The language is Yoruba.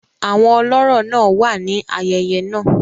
Àwọn olọ́rọ̀ náà wà ní ayẹyẹ náà.